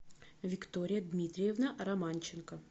виктория дмитриевна романченко